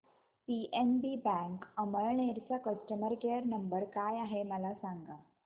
PNB bank Amalner चा customer care number काय आहे मला सांगा